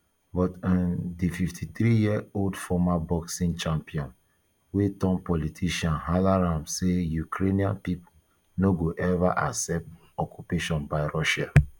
but um di fifty-three year old former boxing champion wey turn politician hala um say ukrainian pipo no go ever accept occupation by russia